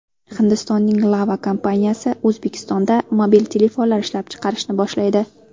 Hindistonning Lava kompaniyasi O‘zbekistonda mobil telefonlar ishlab chiqarishni boshlaydi.